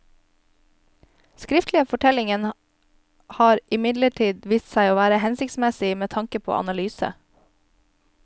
Skriftlige fortellinger har imidlertid vist seg å være hensiktsmessig med tanke på analyse.